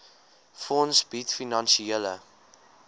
fonds bied finansiële